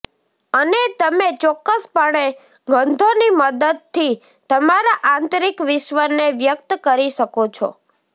અને તમે ચોક્કસપણે ગંધોની મદદથી તમારા આંતરિક વિશ્વને વ્યક્ત કરી શકો છો